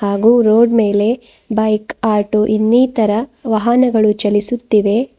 ಹಾಗು ರೋಡ್ ಮೇಲೆ bike auto ಇನ್ನಿತರ ವಾಹನಗಳು ಚಲಿಸುತ್ತಿವೆ.